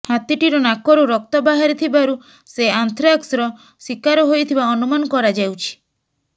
ହାତୀଟିର ନାକରୁ ରକ୍ତ ବାହାରି ଥିବାରୁ ସେ ଆନ୍ଥ୍ରାକ୍ସର ଶିକାର ହୋଇଥିବା ଅନୁମାନ କରାଯାଉଛି